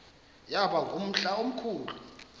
yaba ngumhla omkhulu